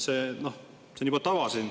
See on siin juba tava.